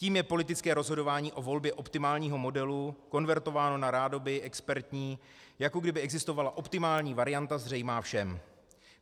Tím je politické rozhodování o volbě optimálního modelu konvertováno na rádoby expertní, jako kdyby existovala optimální varianta zřejmá všem.